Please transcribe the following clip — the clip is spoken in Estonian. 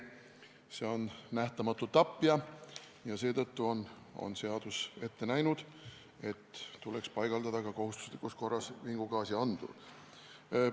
See on nähtamatu tapja ja seetõttu on seadus ette näinud, et tuleks paigaldada kohustuslikus korras ka vingugaasiandur.